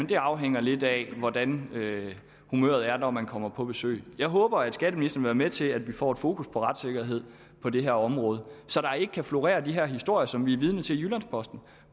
det afhænger lidt af hvordan humøret er når man kommer på besøg jeg håber at skatteministeren vil til at vi får fokus på retssikkerhed på det her område så der ikke kan florere de her historier som vi er vidne til i jyllands posten og